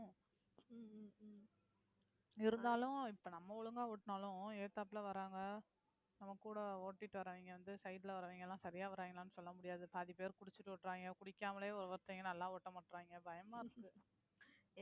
இருந்தாலும், இப்ப நம்ம ஒழுங்கா ஓட்டுனாலும் எதுத்தாப்புல வர்றாங்க. நம்ம கூட ஓட்டிட்டு வர்றவங்க வந்து side ல வர்றவங்க எல்லாம், சரியா வர்றாங்களான்னு, சொல்ல முடியாது. பாதி பேர் குடிச்சிட்டு ஓட்டுவாங்க குடிக்காமலே ஒரு ஒருத்தங்க நல்லாவே ஓட்ட மாட்றாங்க. பயமா இருக்கு